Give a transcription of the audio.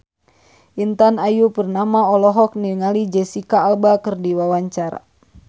Intan Ayu Purnama olohok ningali Jesicca Alba keur diwawancara